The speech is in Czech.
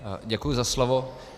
Děkuji za slovo.